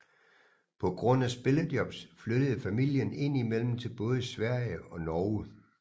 På grund af spillejobs flyttede familien indimellem til både Sverige og Norge